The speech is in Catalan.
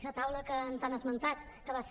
aquesta taula que ens han esmentat que va ser